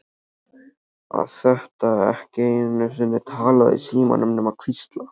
Að geta ekki einu sinni talað í símann nema hvísla.